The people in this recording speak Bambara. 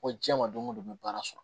Ko diɲɛ ma don o don n bɛ baara sɔrɔ